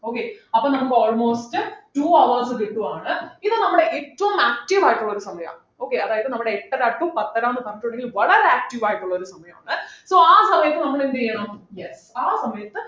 okay അപ്പോൾ നമുക്ക് almost two hours കിട്ടുവാണ് ഇത് നമ്മുടെ ഏറ്റവും active ആയിട്ടുള്ള ഒരു സമയ okay അതായത് നമ്മുടെ എട്ടര to പത്തര ന്ന് പറഞ്ഞിട്ടുണ്ടെങ്കിൽ വളരെ active ആയിട്ടുള്ള ഒരു സമയമാണ് so ആ സമയത്ത് നമ്മൾ എന്ത് ചെയ്യണം yes ആ സമയത്ത്